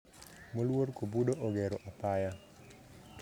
Moluor kobudo ogero apaya